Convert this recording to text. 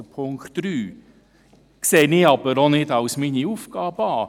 Das betrachte ich aber auch nicht als meine Aufgabe.